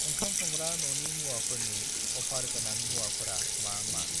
ओंखाम संग्रा न'नि मुवाफोरनि अफार गोनां मुवाफोरा मा मा?